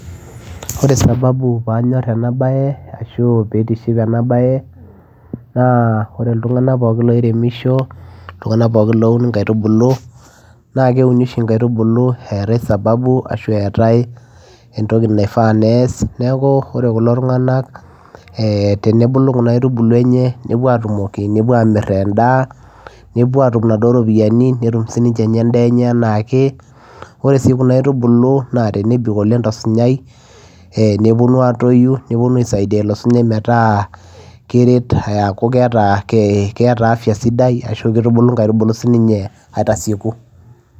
Kore sababu paanyor ena baye ashu piitiship ena baye naa ore iltung'anak pookin loiremisho iltung'anak pookin loun nkaitubulu naa keuni oshi nkaitubulu eetai sababu ashu eetai entoki naifaa neasi. Neeku ore kulo tung'anak ee tenebulu kuna aitubulu enye nepuo aatumoki, nepuo amir endaa naepuo atum naduo ropiani, netum sininye endaa enye enaa ake. Ore sii kuna aitubulu enebik oleng' to sunyai neponu aatoyu, neponu aisaidia ilo sunyai metaa keret aaku keeta ke keeta afya sidai ashu kitubulu nkaitubulu sininye aitasieku.